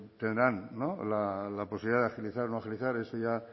tendrán la posibilidad de agilizar o no agilizar eso ya